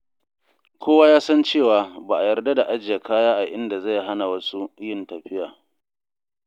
Kowa ya san cewa ba a yarda da ajiye kaya a inda zai hana wasu yin tafiya.